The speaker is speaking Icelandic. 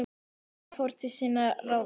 Tók þá sá sem fór til sinna ráða.